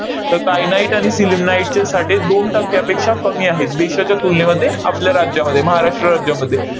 तर kyanite आणि sillimanite चे साठे दोन टक्क्यापेक्षा कमी आहेत देशाच्या तुलनेमध्ये आपल्या राज्यामध्ये, महाराष्ट्र राज्यामध्ये.